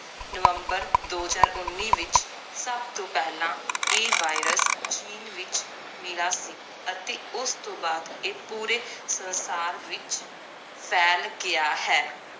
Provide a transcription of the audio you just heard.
ਨਵੰਬਰ ਦੋ ਹਜਾਰ ਉੱਨੀ ਵਿਚ ਸਬ ਤੋਂ ਪਹਿਲਾਂ ਇਹ virus ਚੀਨ ਵਿਚ ਮਿਲਾ ਸੀ ਅਤੇ ਉਸ ਤੋਂ ਬਾਅਦ ਇਹ ਪੂਰੇ ਸੰਸਾਰ ਵਿਚ ਫੈਲ ਗਿਆ ਹੈ